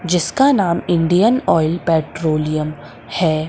जिसका नाम Indian Oil Petroleum है।